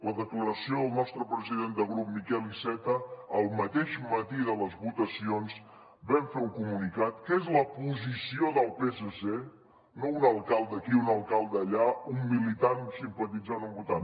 la declaració del nostre president de grup miquel iceta el mateix matí de les votacions va fer un comunicat que és la posició del psc no un alcalde aquí un alcalde allà un militant o un simpatitzant o un votant